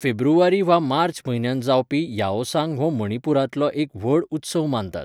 फेब्रुवारी वा मार्च म्हयन्यांत जावपी याओसांग हो मणिपूरांतलो एक व्हड उत्सव मानतात.